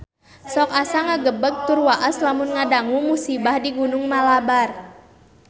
Sok asa ngagebeg tur waas lamun ngadangu musibah di Gunung Malabar